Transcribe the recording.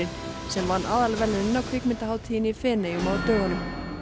sem vann aðalverðlaunin á kvikmyndahátíðinni í Feneyjum á dögunum